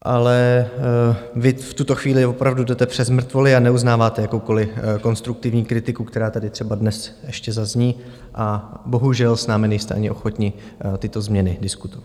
Ale vy v tuto chvíli opravdu jdete přes mrtvoly a neuznáváte jakoukoli konstruktivní kritiku, která tady třeba dnes ještě zazní, a bohužel s námi nejste ani ochotni tyto změny diskutovat.